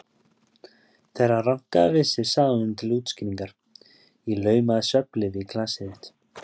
Þegar hann rankaði við sér sagði hún til útskýringar: Ég laumaði svefnlyfi í glasið þitt.